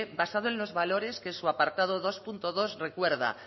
basado en los valores que su apartado dos punto dos recuerda